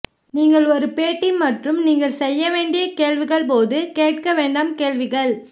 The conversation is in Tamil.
நீங்கள் ஒரு பேட்டி மற்றும் நீங்கள் செய்ய வேண்டிய கேள்விகள் போது கேட்க வேண்டாம் கேள்விகள்